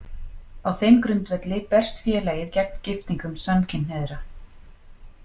Á þeim grundvelli berst félagið gegn giftingum samkynhneigðra.